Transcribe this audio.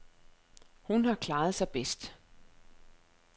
Hun har klaret sig bedst.